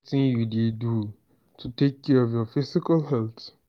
wetin you dey do to take care to take care of your physical health?